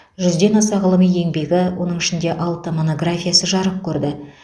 жүзден аса ғылыми еңбегі оның ішінде алты монографиясы жарық көрді